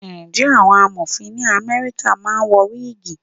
Ǹjẹ́ àwọn Amọ̀fin ní Amẹ́ríkà máa ń wọ wígìì?